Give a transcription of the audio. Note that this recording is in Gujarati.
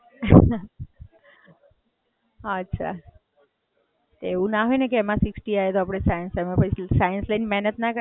તે કેમ science ના લીધું તો?